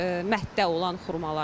Mətdə olan xurmaları.